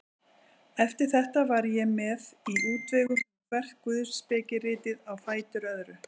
Eftir þetta var ég mér í útvegum um hvert guðspekiritið á fætur öðru.